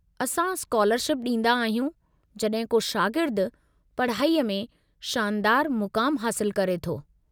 असां स्कालरशिप ॾींदा आहियूं जड॒हिं को शागिर्दु पढ़ाईअ में शानदारु मुक़ामु हासिलु करे थो।